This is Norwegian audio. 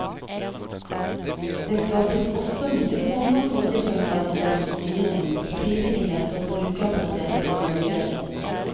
Det skapes også nye former for desentralisert styring, frivillighet og brukerbasert organisering.